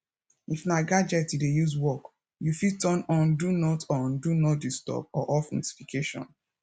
if na gadget you dey use work you fit turn on do not on do not disturb or off notification